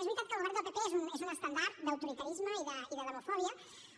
és veritat que el govern del pp és un estendard d’autoritarisme i de demofòbia